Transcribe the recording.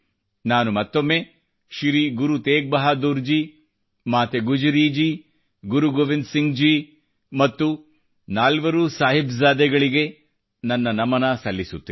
ನಾನು ಮತ್ತೊಮ್ಮೆ ಶ್ರೀ ಗುರು ತೇಗ್ ಬಹಾದೂರ್ ಜಿ ಮಾತೆ ಗುಜ್ಜರಿಜಿ ಗುರು ಗೋವಿಂದ್ ಸಿಂಗ್ ಜಿ ಮತ್ತು ನಾಲ್ವರೂ ಮಕ್ಕಳಿಗೆ ನನ್ನ ನಮನ ಸಲ್ಲಿಸುತ್ತೇನೆ